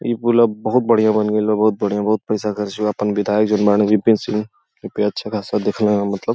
इ पूल अब बहुत बढ़िया बनगईल बा बहुत बढ़िया बहुत पईसा खर्चा हुआ आपन बिधायक जोन बारन जी.पी.एन सिंह ओपे अच्छा खासा दिख रहन मतलब --